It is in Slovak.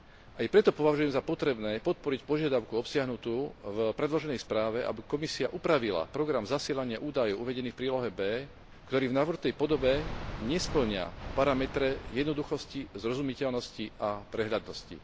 Aj preto považujem za potrebné podporiť požiadavku obsiahnutú v predloženej správe, aby Komisia upravila program zasielania údajov uvedených v prílohe B, ktorý v navrhnutej podobe nespĺňa parametre jednoduchosti, zrozumiteľnosti a prehľadnosti.